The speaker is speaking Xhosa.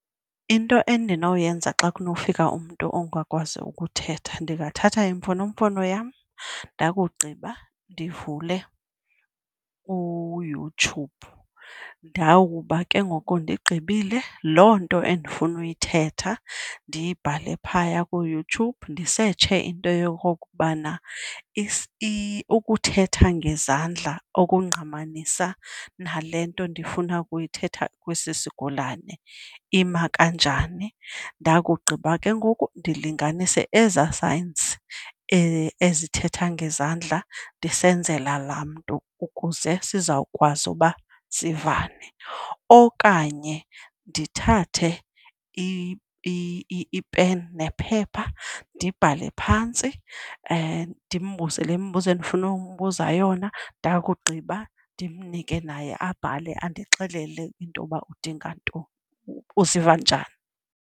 Into endinoyenza xa kunokufika umntu ongakwazi ukuthetha ndingathatha imfonomfono yam, ndakugqiba ndivule uYoutube. Ndawukuba ke ngoku ndigqibile, loo nto endifuna uyithetha ndiyibhale phaya kuYoutube ndisetshe into yokokubana ukuthetha ngezandla okungqamanisa nale nto ndifuna ukuyithetha kwesi sigulane ima kanjani. Ndakugqiba ke ngoku ndilinganise ezaa signs ezithetha ngezandla ndisenzela laa mntu ukuze sizawukwazi uba sivane. Okanye ndithathe ipeni nephepha ndibhale phantsi, ndimbuze le mibuzo endifuna ukumbuza yona. Ndakugqiba ndimnike naye abhale andixelele intoba udinga nto, uziva njani.